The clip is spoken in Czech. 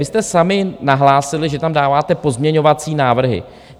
Vy jste sami nahlásili, že tam dáváte pozměňovací návrhy.